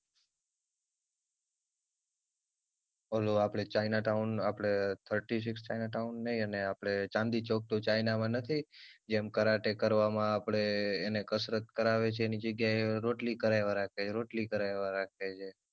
ઓલું આપડે china town આપડે છતરીશ china town નય અને આપડે ચાંદની ચૌક ટુ ચાઈના માં નથી જેમ કરાટે કરવામાં આપડે એને કસરત કરાવે છે એની જગ્યા રોટલી કરાવા રાખે છે રોટલી કરાવા રાખે છે